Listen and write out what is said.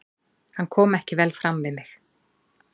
Hann kom ekki vel fram við mig.